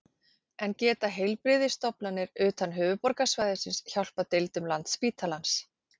En geta heilbrigðisstofnanir utan höfuðborgarsvæðisins hjálpað deildum Landspítalans?